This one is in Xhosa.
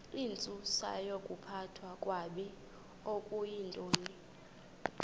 intsusayokuphathwa kakabi okuyintoni